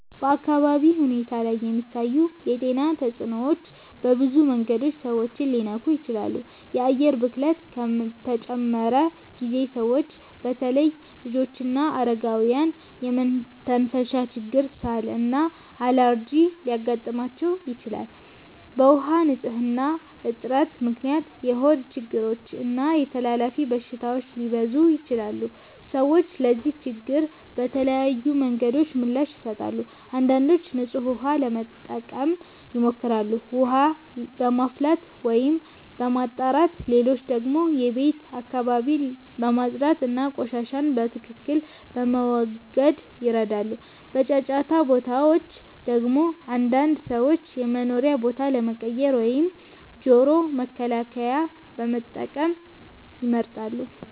በአካባቢ ሁኔታ ላይ የሚታዩ የጤና ተጽዕኖዎች በብዙ መንገዶች ሰዎችን ሊነኩ ይችላሉ። የአየር ብክለት ከተጨመረ ጊዜ ሰዎች በተለይ ልጆችና አረጋውያን የመተንፈሻ ችግር፣ ሳል እና አለርጂ ሊያጋጥማቸው ይችላል። በውሃ ንፅህና እጥረት ምክንያት የሆድ ችግሮች እና ተላላፊ በሽታዎች ሊበዙ ይችላሉ። ሰዎች ለዚህ ችግር በተለያዩ መንገዶች ምላሽ ይሰጣሉ። አንዳንዶች ንጹህ ውሃ ለመጠቀም ይሞክራሉ፣ ውሃ በማፍላት ወይም በማጣራት። ሌሎች ደግሞ የቤት አካባቢን በማጽዳት እና ቆሻሻን በትክክል በመወገድ ይረዳሉ። በጫጫታ ቦታዎች ደግሞ አንዳንድ ሰዎች የመኖሪያ ቦታ ለመቀየር ወይም ጆሮ መከላከያ መጠቀም ይመርጣሉ።